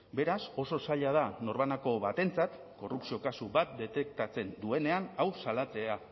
beraz oso zaila da norbanako batentzat korrupzio kasu bat detektatzen duenean hau salatzea